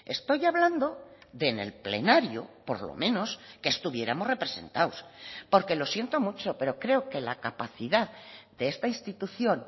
estoy hablando de en el plenario por lo menos que estuviéramos representados porque lo siento mucho pero creo que la capacidad de esta institución